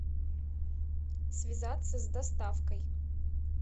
связаться с доставкой